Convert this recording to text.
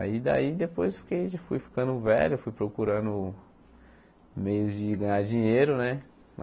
Aí daí depois fiquei fui ficando velho, fui procurando meios de ganhar dinheiro né.